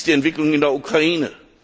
Wie ist die Entwicklung in der Ukraine?